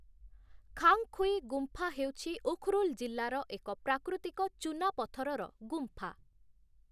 ଖାଙ୍ଗ୍‌ଖୁଇ' ଗୁମ୍ଫା ହେଉଛି ଉଖ୍‌ରୁଲ୍‌ ଜିଲ୍ଲାର ଏକ ପ୍ରାକୃତିକ ଚୁନାପଥରର ଗୁମ୍ଫା ।